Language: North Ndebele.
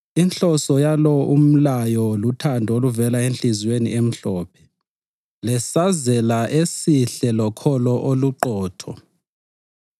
Inhloso yalo umlayo luthando oluvela enhliziyweni emhlophe, lesazela esihle lokholo oluqotho.